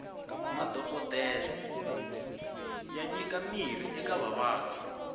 madhokodele ya nyika mirhi eka vavabyi